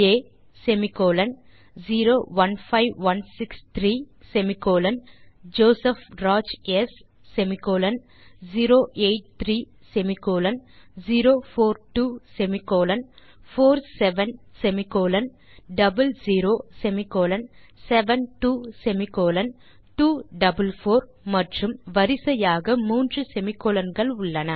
ஆ semicolon 015163 semicolon Joseph Raj ஸ் semicolon 083 semicolon 042 semicolon 47 semicolon 00 semicolon 72 semicolon 244 மற்றும் வரிசையாக மூன்று செமிகோலன் கள்